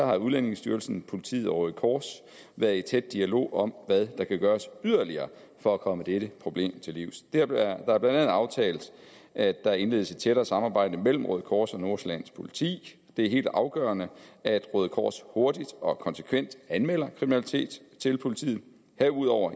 har udlændingestyrelsen politiet og røde kors været i tæt dialog om hvad der kan gøres yderligere for at komme dette problem til livs det er blandt andet aftalt at der indledes et tættere samarbejde mellem røde kors og nordsjællands politi det er helt afgørende at røde kors hurtigt og konsekvent anmelder kriminalitet til politiet herudover